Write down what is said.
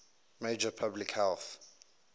major public health